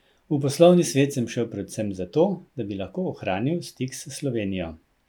V poslovni svet sem šel predvsem zato, da bi lahko ohranil stik s Slovenijo.